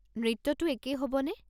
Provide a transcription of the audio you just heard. নৃত্যতো একেই হ'বনে?